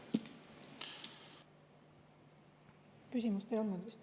Küsimust ei olnud vist.